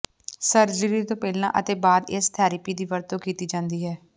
surgery ਤੋਂ ਪਹਿਲਾਂ ਅਤੇ ਬਾਅਦ ਇਸ ਥਰੈਪੀ ਦੀ ਵਰਤੋਂ ਕੀਤੀ ਜਾਂਦੀ ਹੈ